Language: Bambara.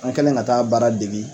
An kɛlen ka taa baara dege.